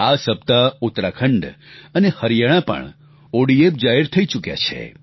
આ સપ્તાહ ઉત્તરાખંડ અને હરિયાણા પણ ઓડીએફ જાહેર થઈ ચૂક્યા છે